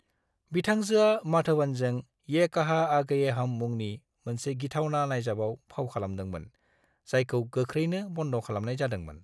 बिथांजोआ माधवनजों "ये कहां आ गए हम" मुंनि मोनसे गिथावना नायजाबाव फाव खालामदोंमोन, जायखौ गोख्रैनो बन्द खालामनाय जादोंमोन।